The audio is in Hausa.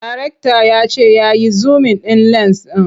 Darekta ya ce ya yi zumin ɗin lens ɗin.